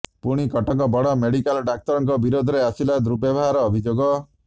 ପୁଣି କଟକ ବଡ ମେଡିକାଲ ଡାକ୍ତରଙ୍କ ବିରୋଧରେ ଆସିଲା ଦୁର୍ବ୍ୟବହାର ଅଭିଯୋଗ